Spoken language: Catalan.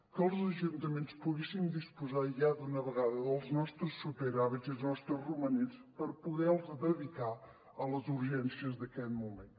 que els ajuntaments poguéssim disposar ja d’una vegada dels nostres superàvits i els nostres romanents per poder los de dedicar a les urgències d’aquest moment